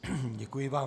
Děkuji vám.